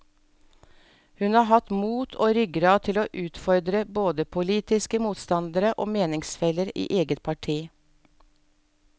Hun har hatt mot og ryggrad til å utfordre både politiske motstandere og meningsfeller i eget parti.